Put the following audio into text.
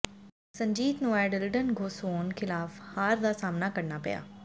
ਸੰਜੀਤ ਨੂੰ ਐਡਿਲਡਨ ਘੋਸੋਨ ਖਿਲਾਫ ਹਾਰ ਦਾ ਸਾਹਮਣਾ ਕਰਨਾ ਪਿਆ